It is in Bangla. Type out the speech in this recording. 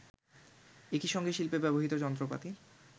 একইসঙ্গে শিল্পে ব্যবহৃত যন্ত্রপাতি